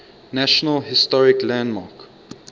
national historic landmark